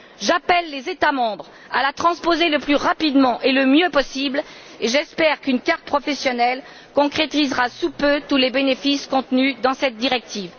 J'appelle les États membres à la transposer le plus rapidement et le mieux possible, et j'espère qu'une carte professionnelle concrétisera sous peu tous les bénéfices contenus dans cette directive.